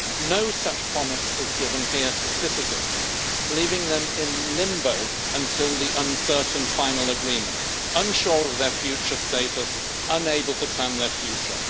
No such promise is given here to citizens, leaving them in limbo until the uncertain final agreement, unsure of their future status, unable to plan their future.